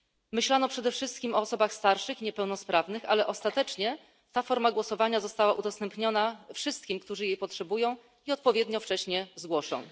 Myślano przede wszystkim o osobach starszych i niepełnosprawnych, ale ostatecznie ta forma głosowania została udostępniona wszystkim, którzy jej potrzebują i odpowiednio wcześnie zgłoszą.